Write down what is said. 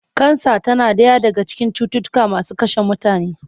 Kansa tana ɗaya daga cikin cututtuka masu kashe mutane.